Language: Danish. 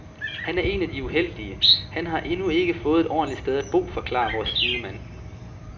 Han er en af de uheldige, han har endnu ikke fået et ordentligt sted at bo, forklarer vores sidemand.